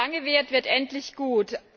Was lange währt, wird endlich gut.